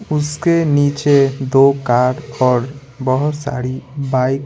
उसके नीचे दो कार और बहुत सारी बाइक --